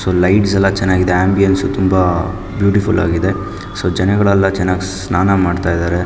So lights ಎಲ್ಲ ಚೆನ್ನಾಗಿದೆ ambience ತುಂಬ ಬ್ಯೂಟಿಫುಲ್ ಆಗಿದೆ ಸೊ ಜನಗಳೆಲ್ಲ ತುಂಬ ಚೆನ್ನಾಗಿ ಸ್ನಾನ ಮಾಡ್ತಿದಾರೆ.